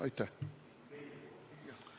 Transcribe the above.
Aitäh!